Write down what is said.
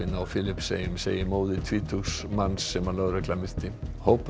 á Filippseyjum segir móðir tvítugs manns sem lögregla myrti hópur